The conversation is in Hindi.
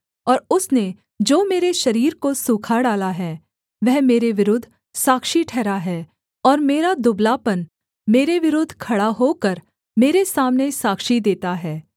और उसने जो मेरे शरीर को सूखा डाला है वह मेरे विरुद्ध साक्षी ठहरा है और मेरा दुबलापन मेरे विरुद्ध खड़ा होकर मेरे सामने साक्षी देता है